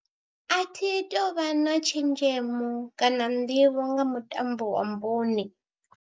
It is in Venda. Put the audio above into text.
A thi tou vha na tshenzhemo kana nḓivho nga mutambo wa bune.